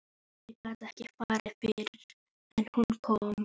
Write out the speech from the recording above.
Ég gat ekki farið fyrr en hún kom.